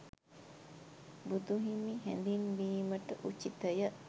බුදුහිමි හැඳින්වීමට උචිතය.